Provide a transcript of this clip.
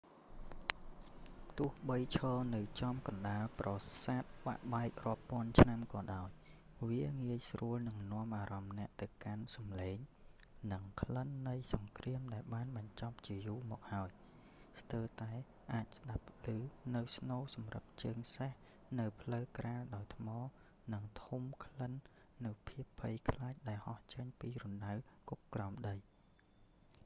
ទោះបីឈរនៅចំកណ្ដាលប្រសាទបាក់បែករាប់ពាន់ឆ្នាំក៏ដោយ វាងាយស្រួលនឹងនាំអារម្មណ៍អ្នកទៅកាន់សំឡេងនិងក្លិននៃសង្គ្រាមដែលបានបញ្ចប់ជាយូរមកហើយ ស្ទើរតែអាចស្ដាប់ឮនូវស្នូរសម្រឹបជើងសេះនៅផ្លូវក្រាលដោយថ្ម និងធំក្លិននូវភាពភ័យខ្លាចដែលហោះចេញពីរណ្ដៅគុកក្រោមដី